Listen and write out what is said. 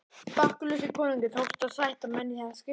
Bakkusi konungi tókst að sætta menn í það skiptið.